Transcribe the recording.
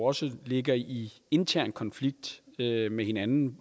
også ligger i intern konflikt med hinanden